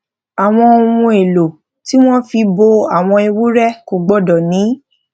àwọn ohun èlò tí wón fi bo àwọn ewúré kò gbódò ní